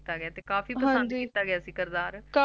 ਕਾਫੀ ਪਸੰਦ ਕੀਤਾ ਗਿਆ ਸੀ ਕਿਰਦਾਰ